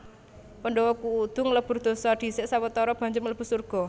Pandhawa kudu nglebur dosa dhisik sawetara banjur mlebu surga